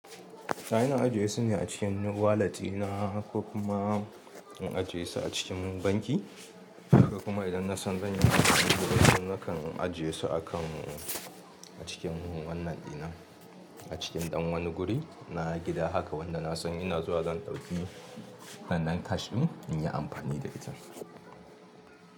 To ina ajiye su ne a cikin wallet ina ko kuma in ajiye su a cikin banki ha ko kuma idan na san zan yi amfani da wasu nakan ajiye su a kan a cikin wannan ɗina a cikin ɗan wani guri na gida haka wanda na san ina zuwa zan ɗauki wannan cash ɗin in yi amfani da ita.